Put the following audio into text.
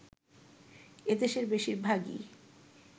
এদের বেশিরভাগই